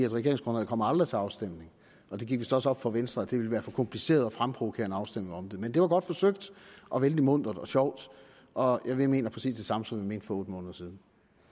regeringsgrundlaget kommer aldrig til afstemning og det gik vist også op for venstre at det ville være for kompliceret at fremprovokere en afstemning om det men det var godt forsøgt og vældig muntert og sjovt og vi mener præcis det samme som vi mente for otte måneder siden